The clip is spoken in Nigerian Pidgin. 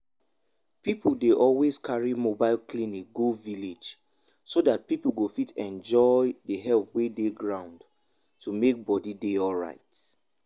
people dey always carry mobile clinic go village so that people go fit enjoy the help wey dey ground to make body dey alright.